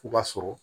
U b'a sɔrɔ